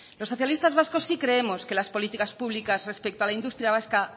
los socialistas vascos sí creemos que las políticas públicas respecto a la industria vasca